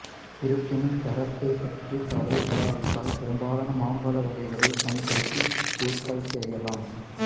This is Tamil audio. இருப்பினும் தரத்தைப் பற்றிக் கவலைப்படாவிட்டால் பெரும்பாலான மாம்பழ வகைகளைப் பயன்படுத்தி ஊறுகாய் செய்யலாம்